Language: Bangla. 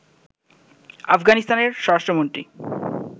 আফগানিস্তানের স্বরাষ্ট্রমন্ত্রী